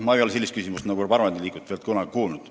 Ma ei ole sellist küsimust parlamendi liikmelt veel kunagi kuulnud.